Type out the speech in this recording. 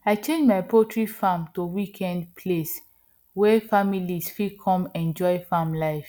i change my poultry farm to weekend place wey families fit come enjoy farm life